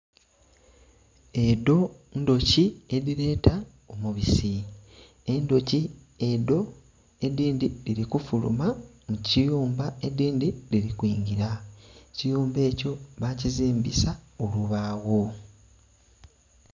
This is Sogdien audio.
Edho ndhoki edhileta omubusi, endhoki edho edhindhi dhili kufuluma mu kiyumba, edindhi dhili kwingila ekiyumba ekyo bakazimbisa obubagho.